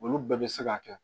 Olu bɛɛ bɛ se ka kɛ